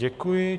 Děkuji.